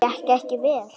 Gekk ekki vel.